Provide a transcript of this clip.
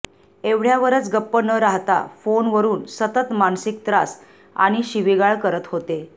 एवढयावरच गप्प न राहता फोनवरून सतत मानसिक त्रास आणि शिवीगाळ करत होते